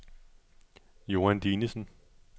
Joan Dinesen